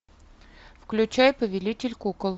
включай повелитель кукол